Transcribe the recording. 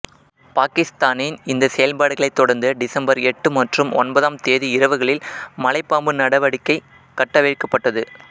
பாகிஸ்தானின் இந்த செயல்களை தொடர்ந்து டிசம்பர் எட்டு மற்றும் ஒன்பதாம் தேதி இரவுகளில் மலைப்பாம்பு நடவடிக்கை கட்டவிழ்க்கபட்டது